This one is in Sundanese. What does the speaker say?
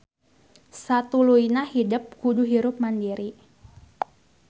Satuluyna hidep kudu hirup mandiri